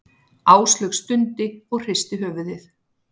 Áslaug stundi og hristi höfuðið.